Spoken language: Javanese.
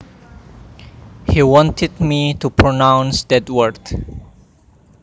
He wanted me to pronounce that word